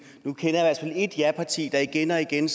nu kender jeg i et japarti der igen og igen